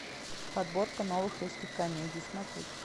подборка новых русских комедий смотреть